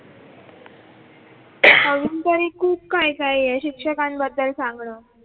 तरी खूप काय काय या शिक्षकांबद्दल सांगणं.